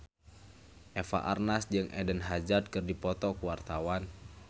Eva Arnaz jeung Eden Hazard keur dipoto ku wartawan